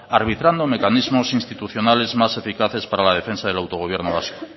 arbitrando mecanismos institucionales más eficaces para la defensa del autogobierno vasco